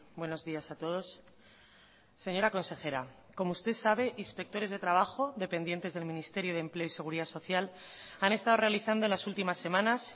buenos días a todos señora consejera como usted sabe inspectores de trabajo dependientes del ministerio de empleo y seguridad social han estado realizando en las últimas semanas